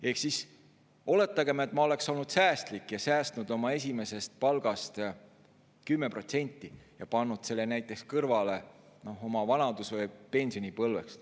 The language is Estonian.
Ehk siis oletagem, et ma oleksin olnud säästlik ja säästnud oma esimesest palgast 10% ja pannud selle näiteks kõrvale oma vanadus- ja pensionipõlveks.